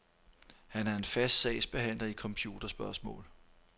Han er fast sagsbehandler i computerspørgsmål.